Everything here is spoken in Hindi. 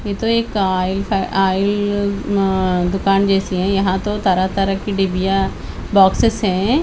ये तो एक आयल फै आयल म म दुकान जैसी हैं यहाँ तो तरह तरह की डिब्बियाँ बॉक्सेस हैं।